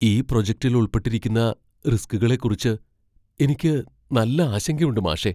ഈ പ്രൊജക്റ്റിൽ ഉൾപ്പെട്ടിരിക്കുന്ന റിസ്കുകളെക്കുറിച്ച് എനിക്ക് നല്ല ആശങ്കയുണ്ട് മാഷേ.